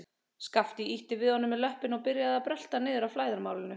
Skapti ýtti við honum með löppinni og hann byrjaði að brölta niður að flæðarmálinu.